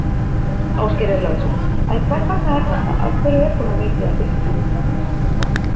Ásgeir Erlendsson: En hvers vegna er þetta, af hverju er svona mikið af fiski?